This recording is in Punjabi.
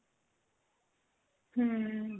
hm